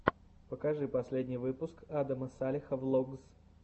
покажи последний выпуск адама салеха влогс